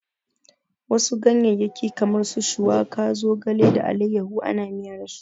Wasu ganyeyyaki kamar su shuwaka, zogale da allayahu ana miya dasu.